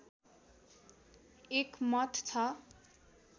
एक मठ छ